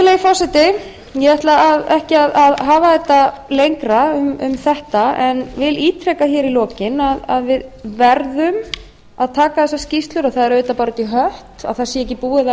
virðulegi forseti ég ætla ekki að hafa þetta lengra um þetta en vil ítreka hér í lokin að við verðum að taka þessar skýrslur og það er auðvitað bara út i hött að það sé ekki búið